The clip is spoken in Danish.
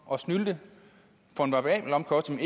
og snylte for en variabel omkostning